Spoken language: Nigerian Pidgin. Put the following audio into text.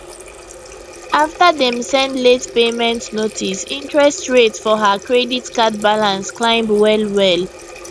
after dem send late payment notice interest rate for her credit card balance climb well well